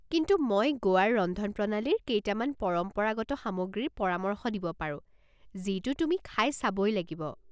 কিন্তু মই গোৱাৰ ৰন্ধনপ্ৰণালীৰ কেইটামান পৰম্পৰাগত সামগ্ৰীৰ পৰামৰ্শ দিব পাৰো যিটো তুমি খাই চাবই লাগিব।